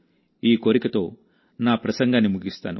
ఈ కోరికతో నా ప్రసంగాన్ని ముగిస్తాను